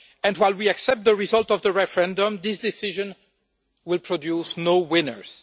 While we accept the result of the referendum, this decision will produce no winners.